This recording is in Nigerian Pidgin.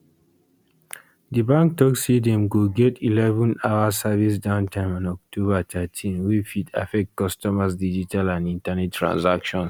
di bank tok say dem go get 11hour service downtime on october thirteen wey fit affect customers digital and internet transactions